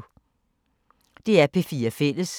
DR P4 Fælles